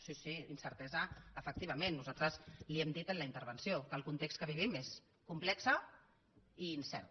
sí sí incertesa efectivament nosaltres li ho hem dit a la intervenció que el context que vivim és complex i incert